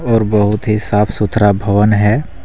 और बहुत ही साफ सुथरा भवन है।